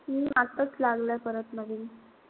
हम्म आताच लागलाय परत नवीन.